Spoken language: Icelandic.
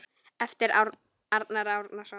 eftir Arnar Árnason